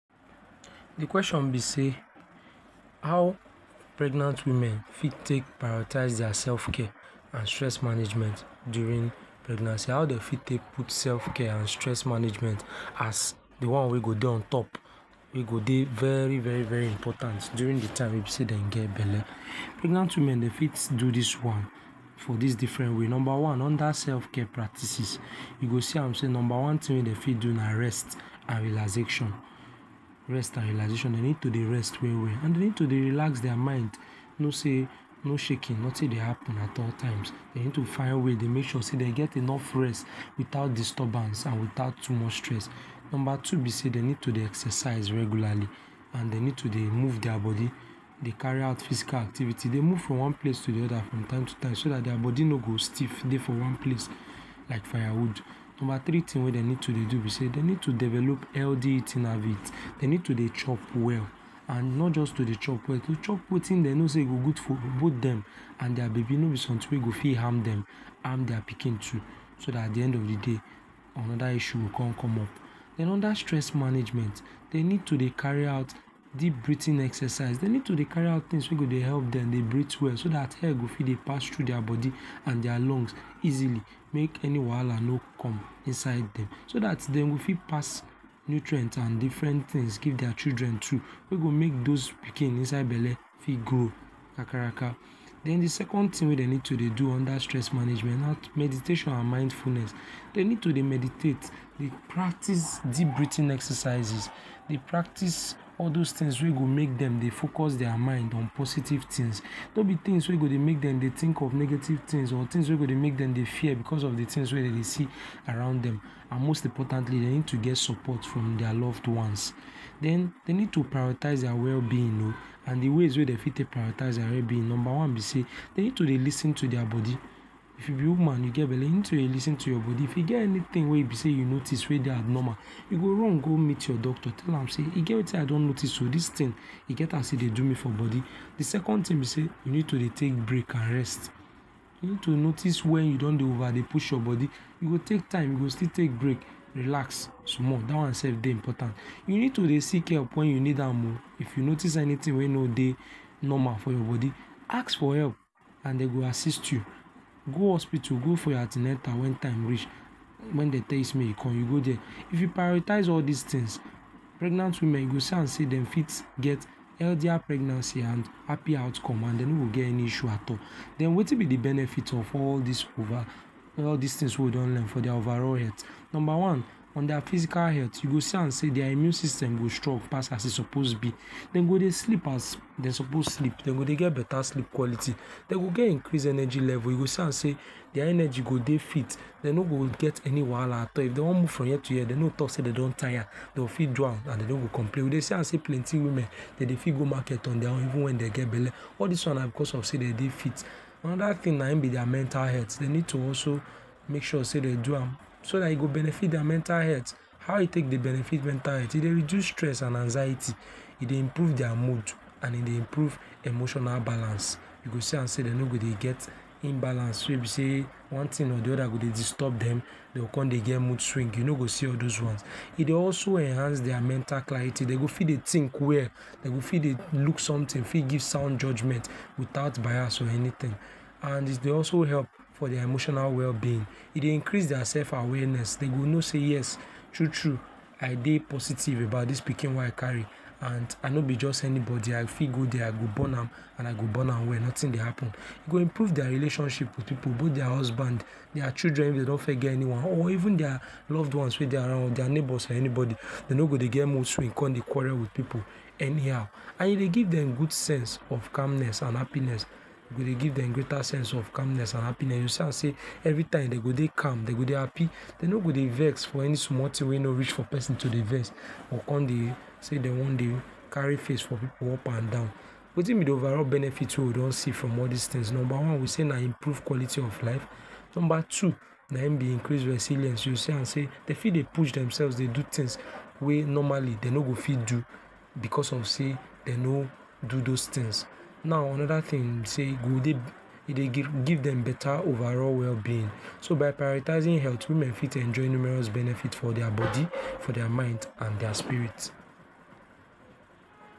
di question be sey how pregnant women fit tek priority dia sefcare and stress management during pregnancy how dey fit take put sefcare and stress management as di one wey go dey on top, wey go dey very very important during di time wey dem get belle, pregnant women dey fit do dis one for dis different way, number one under sefcare practices you go see am sey number one tin dem fit do na rest and relaxation, rest and relaxation dey need to dey rest we-we and dey need to dey relax dia mind, know say no shaki notin dey happen at all times, dey need to fin ways to dey mek sure sey dey get enough rest without disturbance and without too much stress. Number two be sey dey need to dey exercises regularly and dey need to dey move dia bodi dey carry out physical activities dey move from one place to di oda from time to time so dat dia bodi no go stif dey for one place like firewood. Number three tin wey dem need to dey do be sey dey need to develop healthy eating habit, dey need to dey chop well and not jus to dey chop well, to chop wetin dey know sey e go good for both dem and dia babi, no be somtin wey go fit harm dem, harm dia pikin too, so dat at di end of di day anoda issue go con come up. Den under stress management, dey need to dey carri out deep breathing exercise, dey need to dey carri out tings wey go dey help dem dey breathe well so dat air go fit dey pass thru dia bodi and dia lungs easily mek any wahala no com inside dem, so dat dem go fit pass nutrient and differen tins give dia children too wey go mek dos pikin inside belle fit grow kakaraka. Den di second tin wey dem need to dey do under stress management na meditation and mindfulness, dey need to dey meditate dey practice deep breathing exercises, dey practice all dos tins wey go mek dem dey focus dia mind on positive tins, no be tins wey go dey mek dem dey tink of negatives tins or tins wey go dey mek dem dey fear becos of di tins wey dem dey see around dem and most importantly dey need to get support from dia loved ones. Den dey need to prioritize dia wellbeing oh and di ways wey dem fit tek prioritize dia wellbeing be sey number one be sey, dey need to dey lis ten to dia bodi, if you be woman you get belle, you need to dey lis ten to your bodi, if you get anytin wey be sey you noticed wey dey abnormal, you go run go mit your doctor tell am sey e get wetin I don noticed oh, dis tin e get as e dey do me for bodi. Di second tin be sey you need to dey tek break and rest, you need to notice wen you don dey over dey push your bodi, you go tek time you go still tek breaks relax small dat one sef dey important, you need to dey seek help wen you need am oh, if you noticed anytin wey no dey normal for your bodi, ask for help and dey go assist you go hospitu go for your an ten atal wen time reach, wen dey tell you sey mek you com you go dia if you prioritize all dis tins, pregnant women you go see am sey dem fit get healthier pregnancy and happy outcome and dey no go get any issue at all, den wetin be di benefit of over all dis tins wey we don learn for dia overall health, Number one for dia physical health you go see am sey dia immune system go strong pass as e suppose be, dem go dey sleep as dem suppose sleep dem go dey get betta sleep quality, dem go get increase energy level you go see am sey dia energy go dey fit, dey no get any wahala at all, if dem one move from here to here, dey no go tok sey dey don tire, dey go fit do am and dey no go complain, we dey see am sey plenty women dem fit go market on dia one even wen dem get belle all dis wan na becos of say dem dey fit anoda tin na im be dia mental health dey need to also mek sure sey dey do am, so dat e go benefit dia mental health, how e tek dey benefit dia mental health e dey reduce stress and anxiety e dey improve dey mode and e dey improve emotional balance, you go see am sey dey no go dey get imbalance wey be sey one tin or di oda go dey disturb dem, dey go con dey get mode swing you no go see all dos wan e dey also enhance dey mental clarity dey go fit dey tink well dey go fit look somtin fit give sound judgement without bias or anytin and e dey also help for dia emotional wellbeing, e dey increase dia sef awareness, dey go know sey yes true true I dey positive about this pikin wey I carri and I no be jus anybody I fit go dia I go born am and I go born am well notin dey happen e go improve dia relationship with pipu both dia husband, dia children fit dey don fes get anyone or even dia loved ones wey dey around dia neighbors or anybody dey no go dey get mode swing con dey quarrel with pipu anyhow and e dey give dem go sense of calmness and happiness, e go dey give dem greater sense of calmness and happiness you see am sey every time dey go dey calm dey go dey happy dey no go dey vex for any small tin wey no reach for pesin to dey vex dey con dey sey wan dey carri face for pipu up and down wetin be di overall benefit wey we don see from all dis tins now, number one we sey na improve quality of life, number two na im be increase resilience you go see am sey dey fit dey push demsef dey do tins wey normal dey no go fit do becos of sey dey no do dos tins now anoda tins be sey e dey give dem betta overall wellbeing so by prioritizing health women fit enjoy numerous benefits for dia bodi for dia mind and dia spirit.